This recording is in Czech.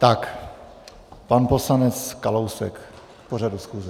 Tak, pan poslanec Kalousek k pořadu schůze.